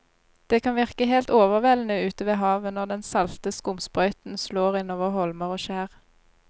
Det kan virke helt overveldende ute ved havet når den salte skumsprøyten slår innover holmer og skjær.